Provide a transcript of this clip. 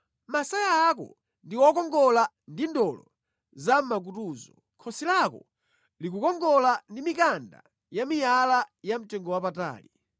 Masaya ako ndi okongola ndi ndolo zamʼmakutuzo, khosi lako likukongola ndi mikanda yamiyala yamtengowapatali.